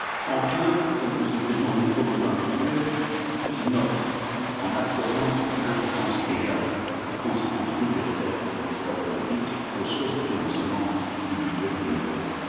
Enfin, Monsieur le Président, nous proposons un budget qui innove en accordant une importance égale tant aux conséquences budgétaires de nos choix politiques qu'aux sources de financement du budget communautaire.